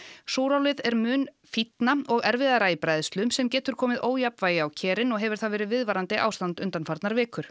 súrálið er mun fínna og erfiðara í bræðslu sem getur komið ójafnvægi á kerin og hefur það verið viðvarandi ástand undanfarnar vikur